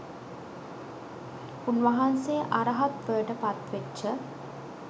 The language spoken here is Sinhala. උන්වහන්සේ අරහත්වයට පත්වෙච්ච